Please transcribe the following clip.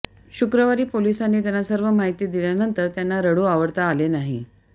शुक्रवारी पोलिसांनी त्यांना सर्व माहिती दिल्यानंतर त्यांना रडू आवरता आले नाही